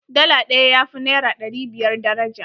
Dala ɗaya ya fi naira ɗari biyar daraja.